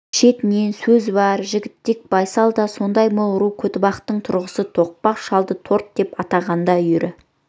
шетінен сөзуар жігітек байсал да сондай мол ру көтібақтың тұрғысы тоқпақ жалды торы деп атағанда үйірі